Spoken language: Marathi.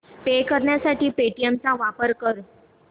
पे करण्यासाठी पेटीएम चा वापर कर